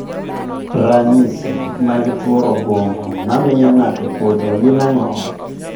Ranyisi mag tuo obwongo mamiyo ng'ato podho gin ang'o?